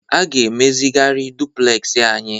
A ga-emezigharị dupulesị anyị.